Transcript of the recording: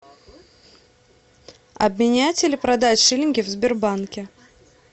обменять или продать шиллинги в сбербанке